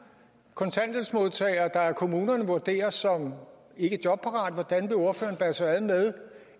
kontanthjælpsmodtagere der af kommunerne vurderes som ikkejobparate hvordan vil ordføreren bære sig ad med